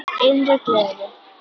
Innri gleði.